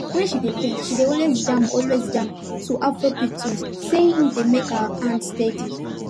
when she dey paint she dey always jam always jam to afrobeat tunes say e dey make her hand steady